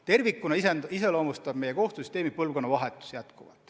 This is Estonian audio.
Tervikuna iseloomustab meie kohtusüsteemi põlvkonnavahetus.